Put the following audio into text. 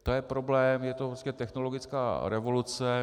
To je problém, je to technologická revoluce.